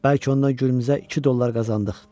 Bəlkə ondan Gürümüzə 2 dollar qazandıq.